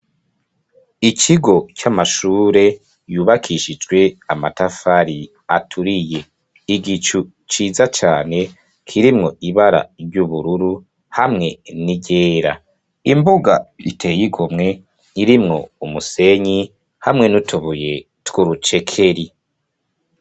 Ikigo c'amashure yubakishijwe amatafari aturiye, igicu ciza cane kirimwo ibara ry'ubururu hamwe n'iryera, imbuga iteye igomwe irimwo umusenyi hamwe n'utobuye twurucekeri.